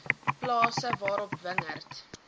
plase waarop wingerd